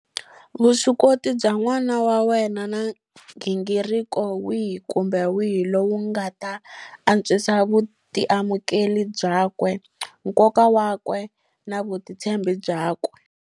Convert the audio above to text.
Vuswikoti bya n'wana wa wena na nghingiriko wihi kumbe wihi lowu wu nga ta antswisa vutiamukeli byakwe, nkoka wakwe na vutitshembi byakwe.